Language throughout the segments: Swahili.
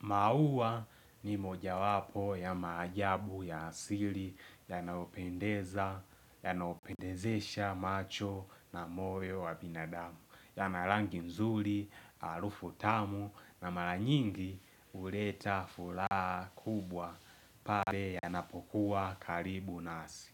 Mauwa ni moja wapo ya maajabu ya asili yanaopendeza, yanaopendezesha macho na moyo wa binadamu, yana rangi mzuri, alufu tamu na mara nyingi uleta furaha kubwa pale yanapokuwa karibu nasi.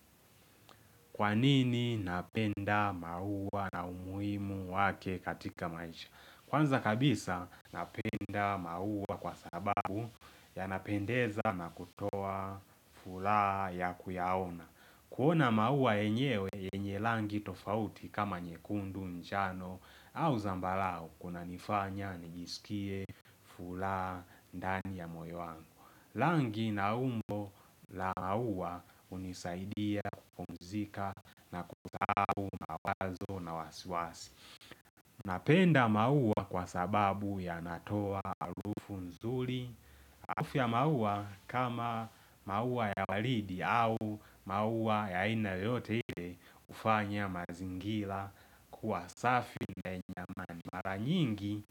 Kwa nini napenda mauwa na umuhimu wake katika maisha? Kwanza kabisa napenda maua kwa sababu yanapendeza na kutoa fulaha ya kuyaona. Kuona maua yenyewe yenye langi tofauti kama nyekundu njano au zambarau kuna nifanya nijisikie fulaha ndani ya moyo wangu. Langi na umbo la maua hunisaidia kupumzika na kusahau mawazo na wasiwasi. Napenda maua kwa sababu yanatoa alufu mzuri. Alufu ya maua kama maua ya walidi au maua ya ina yoyote ile hufanya mazingira kuwa safi na mara nyingi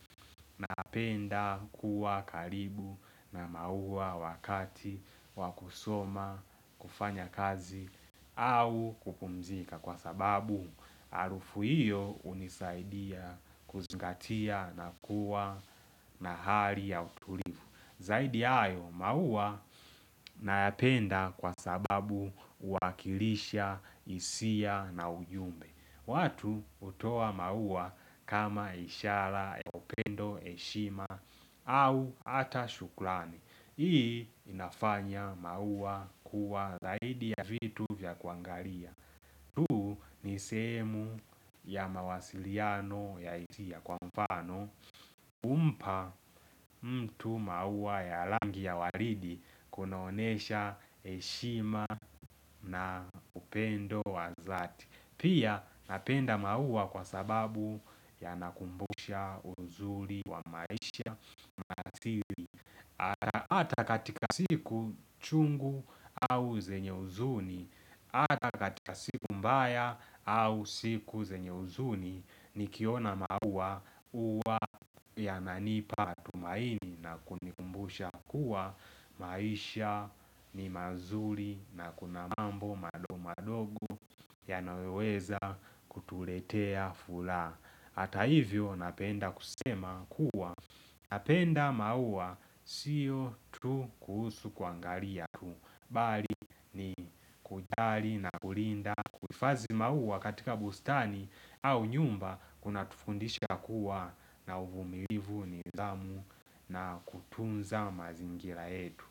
napenda kuwa karibu na maua wakati wa kusoma, kufanya kazi au kupumzika Kwa sababu arufu hiyo unisaidia kuzingatia na kuwa na hali ya utulivu Zaidi yayo maua nayapenda kwa sababu uwakilisha hisia na ujumbe watu hutoa maua kama ishara ya upendo, heshima au ata shukrani Hii inafanya maua kuwa zaidi ya vitu vya kuangalia tuu ni sehemu ya mawasiliano ya hisia kwa mfano kumpa mtu mauwa ya langi ya waridi kunaonesha heshima na upendo wa dhati. Pia napenda mauwa kwa sababu yanakumbusha uzuri wa maisha na asili. Hata katika siku chungu au zenye huzuni Hata katika siku mbaya au siku zenye huzuni Nikiona maua huwa yananipa tumaini na kunikumbusha kuwa maisha ni mazuri na kuna mambo madogo madogo yanayoweza kutuletea fulaa Hata hivyo napenda kusema kuwa Napenda maua siyo tu kuhusu kuangalia tu bali ni kujali na kulinda kuifazi maua katika bustani au nyumba kunatufundisha kuwa na uvumilivu nidhamu na kutunza mazingira yetu.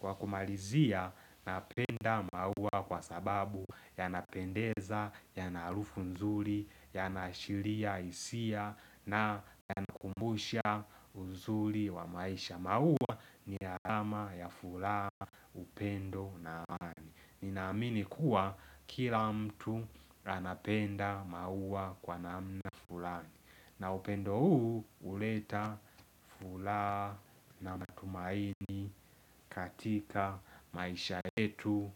Kwa kumalizia napenda maua kwa sababu yanapendeza, yana harufu nzuri, yana ashiria hisia na yanakumbusha uzuri wa maisha maua ni alama ya fulaha, upendo na amani Ninaamini kuwa kila mtu anapenda maua kwa namna fulani na upendo huu huleta fulaa na matumaini katika maisha yetu.